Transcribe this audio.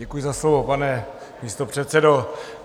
Děkuji za slovo, pane místopředsedo.